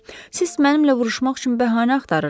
Siz mənimlə vuruşmaq üçün bəhanə axtarırdız.